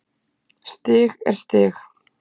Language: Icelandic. Stig er stig